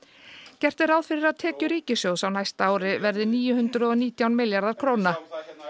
gert er ráð fyrir að tekjur ríkissjóðs á næsta ári verði níu hundruð og nítján milljarðar króna